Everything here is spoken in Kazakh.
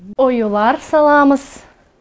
оюлар саламыз